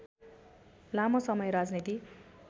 लामो समय राजनीति